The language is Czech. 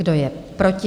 Kdo je proti?